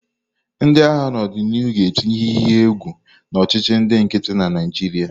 Ndị agha n'odinihu ga-etinye ihe iyi egwu na ọchịchị ndị nkịtị na Naịjirịa.